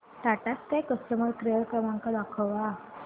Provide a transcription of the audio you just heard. Tata sky customer care क्रमांक दाखवा